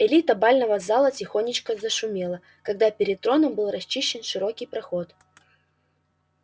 элита бального зала тихонечко зашумела когда перед троном был расчищен широкий проход